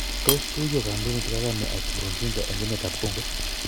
Tos tuyo kandoindet Kagame ak Nkurunzinza eng emet ap Congo